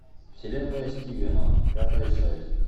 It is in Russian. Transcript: вселенная стивена пятая часть